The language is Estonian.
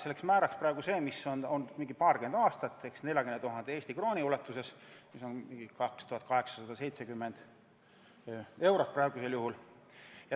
selleks määraks praegu see, mis on mingi paarkümmend aastat olnud, 40 000 Eesti krooni, mis on praegu 2870 eurot.